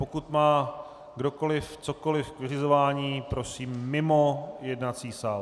Pokud má kdokoliv cokoliv k vyřizování, prosím mimo jednací sál.